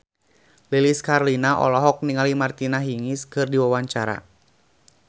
Lilis Karlina olohok ningali Martina Hingis keur diwawancara